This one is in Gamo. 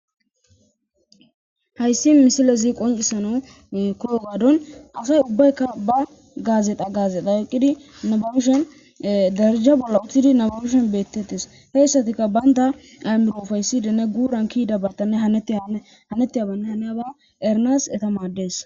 Hayis missilez qonicisanawu koyogaddan asay ubbatikka ba gazexxa gazexxa oyikidi nababishshin dereja bola utidi nababishe beteteesi he asatikka banita ayimiro upayisidinne gura hanetiyabanne haniya ba eranas madees